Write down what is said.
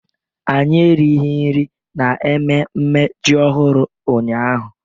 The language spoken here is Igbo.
Anyị erighị nri n'ememme ji ọhụrụ ụnyahụ.